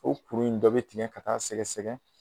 O kuru in dɔ bɛ tigɛ ka taa sɛgɛsɛgɛn